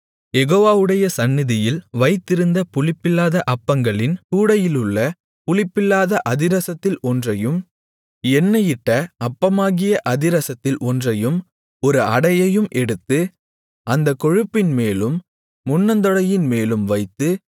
யெகோவாவுடைய சந்நிதியில் வைத்திருந்த புளிப்பில்லாத அப்பங்களின் கூடையிலுள்ள புளிப்பில்லாத அதிரசத்தில் ஒன்றையும் எண்ணெயிட்ட அப்பமாகிய அதிரசத்தில் ஒன்றையும் ஒரு அடையையும் எடுத்து அந்தக் கொழுப்பின்மேலும் முன்னந்தொடையின்மேலும் வைத்து